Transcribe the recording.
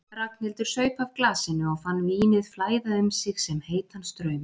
Ragnhildur saup af glasinu og fann vínið flæða um sig sem heitan straum.